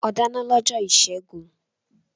O dáná lọ́jọ́ ìṣẹ́gun.